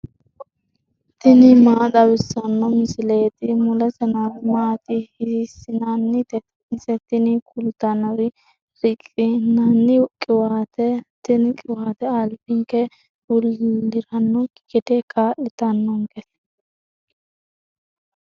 tini maa xawissanno misileeti ? mulese noori maati ? hiissinannite ise ? tini kultannori riqqinanni qiwaateeti. tini qiwaate albinke bullirannokki gede kaa'litannonkete.